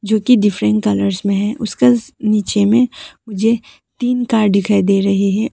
जो कि different colours में है उसका नीचे में मुझे तीन कार दिखाई दे रहे हैं।